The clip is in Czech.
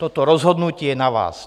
Toto rozhodnutí je na vás!